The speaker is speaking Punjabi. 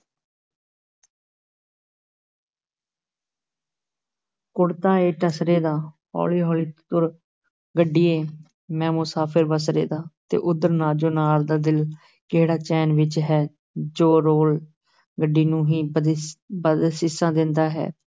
ਕੁੜਤਾ ਈ ਟਸਰੇ ਦਾ, ਹੌਲੀ ਹੌਲੀ ਟੁਰ ਗੱਡੀਏ, ਮੈਂ ਮੁਸਾਫ਼ਿਰ ਬਸਰੇ ਦਾ, ਤੇ ਉਧਰ ਨਾਜੋ ਨਾਰ ਦਾ ਦਿਲ ਕਿਹੜਾ ਚੈਨ ਵਿੱਚ ਹੈ, ਜੋ ਰੇਲ ਗੱਡੀ ਨੂੰ ਹੀ ਬਦਸ ਬਦਅਸੀਸਾਂ ਦਿੰਦਾ ਹੈ।